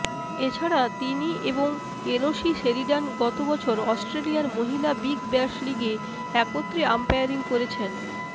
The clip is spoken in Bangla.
এছাড়া তিনি এবং এলোসি সেরিডান গত বছর অস্ট্রেলিয়ার মহিলা বিগ ব্যাশ লিগে একত্রে আম্পারিং করেছেন